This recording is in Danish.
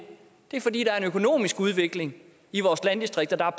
er fordi der er en økonomisk udvikling i vores landdistrikter der er